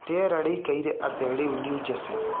rĩera rĩĩkaĩre atĩa rĩu new Jersey